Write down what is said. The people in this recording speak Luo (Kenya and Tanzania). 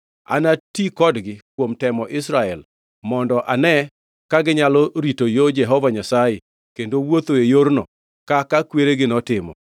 Anati kodgi kuom temo Israel mondo ane ka ginyalo rito yo Jehova Nyasaye kendo wuothoe yorno kaka kweregi notimo.”